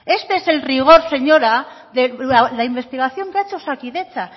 este es el rigor señora de la investigación que ha hecho osakidetza